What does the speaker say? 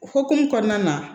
O hukumu kɔnɔna na